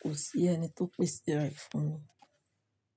Kò sí ẹni tó pèsè rẹ̀ fún mi.